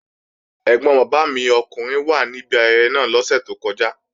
Ẹ́gbọn bàbá mi ọkùnrin wà ní ibi ayẹyẹ náà lọ́sẹ̀ tó kọjá